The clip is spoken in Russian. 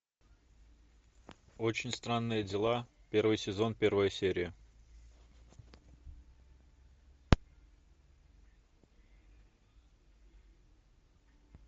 очень странные дела первый сезон первая серия